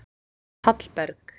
Hallberg